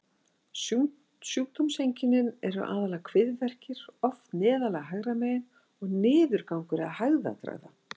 Sjúkdómseinkennin eru aðallega kviðverkir, oft neðarlega hægra megin, og niðurgangur eða hægðatregða.